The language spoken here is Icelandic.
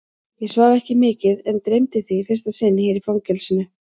Ég svaf ekki mikið en dreymdi þig í fyrsta sinn hér í fangelsinu.